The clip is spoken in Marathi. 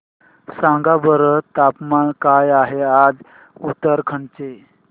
सांगा बरं तापमान काय आहे आज उत्तराखंड चे